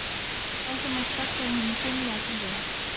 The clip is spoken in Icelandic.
Valdimar sparkaði honum fimlega til þeirra.